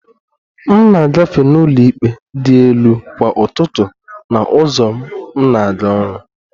M na-agafe n'ụlọikpe dị elu kwa ụtụtụ na ụzọ m na-aga ọrụ